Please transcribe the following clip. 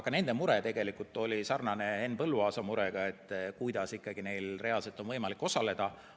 Ka nende mure oli sarnane Henn Põlluaasa murega, et kuidas neil reaalselt on võimalik osaleda.